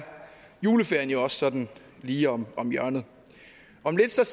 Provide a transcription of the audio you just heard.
juleferien jo også sådan lige om om hjørnet om lidt